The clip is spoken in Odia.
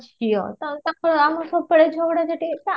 ଝିଅ ତ ତାଙ୍କ ଆମର ସବୁବେଳେ ଝଗଡା ଝାଟି